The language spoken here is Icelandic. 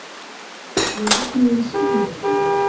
Ég vaknaði við símhringingu í morgun.